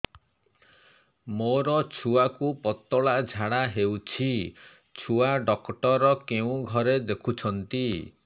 ମୋର ଛୁଆକୁ ପତଳା ଝାଡ଼ା ହେଉଛି ଛୁଆ ଡକ୍ଟର କେଉଁ ଘରେ ଦେଖୁଛନ୍ତି